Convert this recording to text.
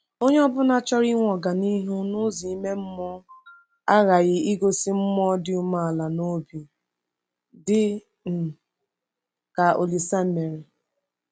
Onye ọ bụla chọrọ inwe ọganihu n’ụzọ ime mmụọ aghaghị igosi mmụọ dị umeala n’obi dị um ka Olise mere.